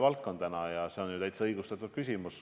Ja teie küsimus on täiesti õigustatud.